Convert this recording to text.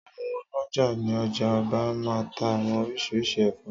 Àwon ọlọ́já ní ọjà Ọba maa n tá àwọn oríṣiríṣi ẹ̀fọ́